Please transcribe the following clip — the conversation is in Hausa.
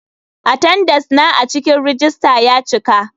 Atendenca na a cikin rejista ya cika.